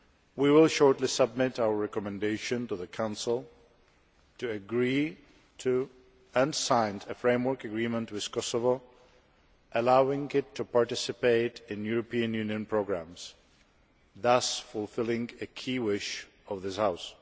We will shortly submit our recommendation to the Council to agree to and sign a framework agreement with Kosovo allowing it to participate in European Union programmes, thus fulfilling a key wish of this House.